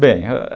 bem